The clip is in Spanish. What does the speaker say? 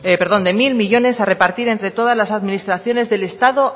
perdón de mil millónes a repartir entre todas las administraciones del estado